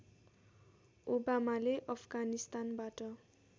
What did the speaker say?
ओबामाले अफगानिस्तानबाट